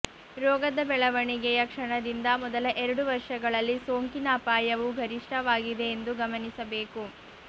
ರೋಗದ ಬೆಳವಣಿಗೆಯ ಕ್ಷಣದಿಂದ ಮೊದಲ ಎರಡು ವರ್ಷಗಳಲ್ಲಿ ಸೋಂಕಿನ ಅಪಾಯವು ಗರಿಷ್ಠವಾಗಿದೆ ಎಂದು ಗಮನಿಸಬೇಕು